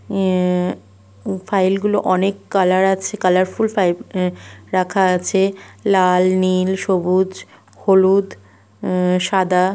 উম file গুলো অনেক colour আছে কালারফুল ফাইল রাখা আছে লাল নীল সবুজ হলুদ উ- সাদা --